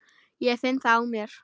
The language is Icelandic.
Ég finn það á mér.